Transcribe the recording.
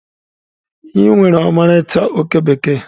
Ị nwere ọmarịcha oke bekee.